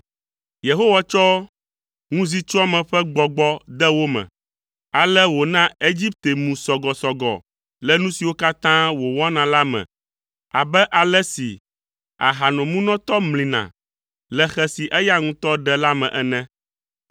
Yehowa tsɔ ŋuzitsɔame ƒe gbɔgbɔ de wo me. Ale wòna Egipte mu sɔgɔsɔgɔ le nu siwo katã wòwɔna la me abe ale si ahanomunɔtɔ mlina le xe si eya ŋutɔ ɖe la me ene.